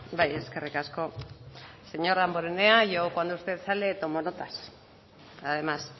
bai eskerrik asko señor damborenea yo cuando usted sale tomo notas además